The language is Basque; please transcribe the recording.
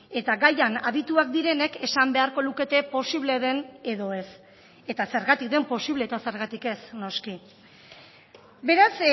eta gaian adituak direnek esan beharko lukete posible den edo ez eta zergatik den posible eta zergatik ez noski beraz